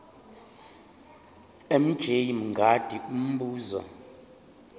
mj mngadi umbuzo